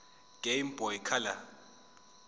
game boy color